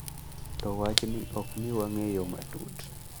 To wachni ok miwa ng’eyo matut.